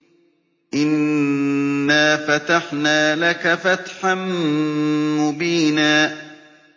إِنَّا فَتَحْنَا لَكَ فَتْحًا مُّبِينًا